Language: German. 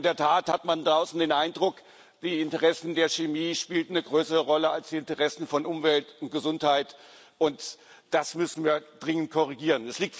In der Tat hat man draußen den Eindruck, die Interessen der Chemie spielten eine größere Rolle als die Interessen von Umwelt und Gesundheit. Das müssen wir dringend korrigieren.